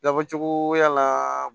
Labɔcogoya la